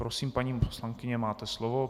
Prosím, paní poslankyně, máte slovo.